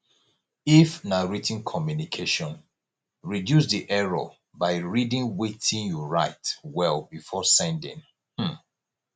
if na writ ten communication reduce di error by reading wetin you write well before sending um